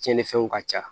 Tiɲɛnifɛnw ka ca